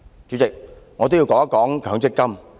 主席，我也想說說強積金。